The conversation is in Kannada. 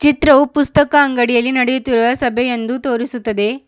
ಚಿತ್ರವು ಪುಸ್ತಕ ಅಂಗಡಿಯಲ್ಲಿ ನಡೆಯುತ್ತಿರುವ ಸಭೆ ಎಂದು ತೋರಿಸುತ್ತದೆ.